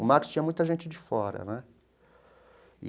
O Max tinha muita gente de fora, né?